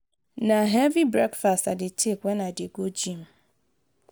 na heavy breakfast i dey take when i dey go gym.